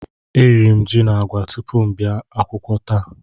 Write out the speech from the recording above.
E riri ji na agwa tupu m abịa akwụkwọ taa